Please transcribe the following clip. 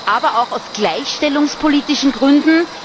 aber auch aus gleichstellungspolitischen Gründen.